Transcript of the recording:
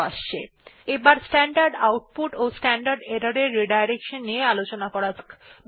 এবার দেখে নেওয়া যাক কিভাবে স্ট্যান্ডার্ড আউটপুট এবং স্ট্যান্ডার্ড এরর পুননির্দেশনা করা যায়